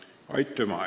Aitüma!